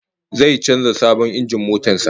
Zai canza sabon injin motar sa